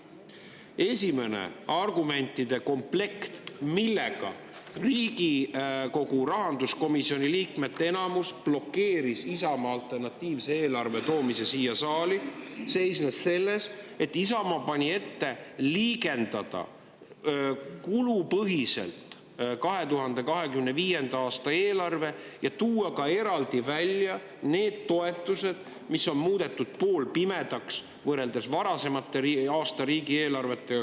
Esimene argumentide komplekt, millega Riigikogu rahanduskomisjoni liikmete enamus blokeeris Isamaa alternatiivse eelarve toomise siia saali, seisnes selles, et Isamaa pani ette liigendada 2025. aasta eelarve kulupõhiselt ja tuua eraldi välja toetused, mis on valitsuse poolt muudetud poolpimedaks, võrreldes varasemate aastate riigieelarvetega.